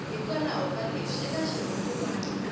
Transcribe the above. hikwalaho ka leswi eka xirungulwana